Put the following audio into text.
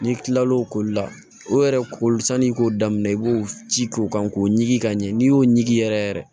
N'i kilal'o koli la o yɛrɛ koli san'i k'o daminɛ i b'o ci k'o kan k'o ɲigin ka ɲɛ n'i y'o ɲigin yɛrɛ yɛrɛ